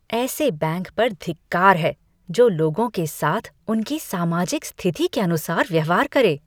ऐसे बैंक पर धिक्कार है जो लोगों के साथ उनकी सामाजिक स्थिति के अनुसार व्यवहार करे।